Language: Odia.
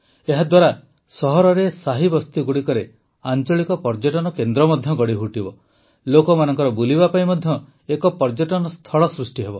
ଏହାଦ୍ୱାରା ସହରରେ ସାହି ବସ୍ତିଗୁଡ଼ିକରେ ଆଂଚଳିକ ପର୍ଯ୍ୟଟନ କେନ୍ଦ୍ର ମଧ୍ୟ ଗଢ଼ିଉଠିବ ଲୋକମାନଙ୍କ ବୁଲିବା ପାଇଁ ମଧ୍ୟ ଏକ ପର୍ଯ୍ୟଟନସ୍ଥଳ ସୃଷ୍ଟି ହେବ